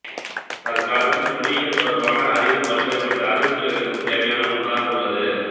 தற்காலத்தில் மொழியியல் தொடர்பான அறிவு பல்வேறுபட்ட அறிவுத்துறைகளுக்கும் தேவையான ஒன்றாக உள்ளது